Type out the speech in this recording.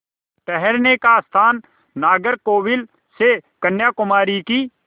ठहरने का स्थान नागरकोविल से कन्याकुमारी की